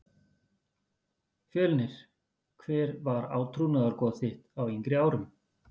Fjölnir Hver var átrúnaðargoð þitt á yngri árum?